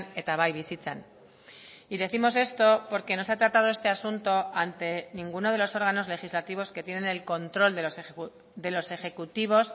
eta bai bizitzan y décimos esto porque no se ha tratado este asunto ante ninguno de los órganos legislativos que tienen el control de los ejecutivos